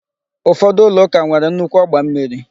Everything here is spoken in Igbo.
Ụfọdụ ụlọ ụka nwere nnukwu ọgba mmiri